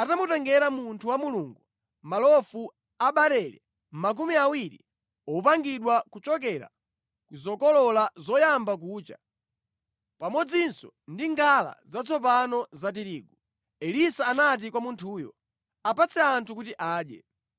atamutengera munthu wa Mulungu malofu a barele makumi awiri opangidwa kuchokera ku zokolola zoyamba kucha, pamodzinso ndi ngala zatsopano za tirigu. Elisa anati kwa munthuyo, “Apatse anthu kuti adye.”